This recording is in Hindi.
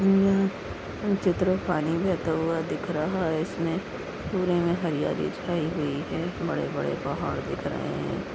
यह चित्र पानी बहता हुआ दिख रहा है इसमे पूरे मई हरियाली छाई हुई है बड़े बड़े पहाड़ दिख रहे--